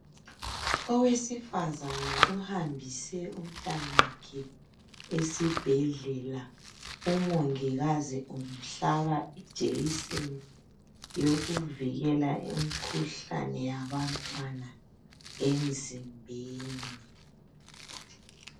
Owesifazana ohambise umntanakhe esibhedlela, umongikazi umhlaba ijekiseni yokuvikela imkhuhlane yabantwana emzimbeni.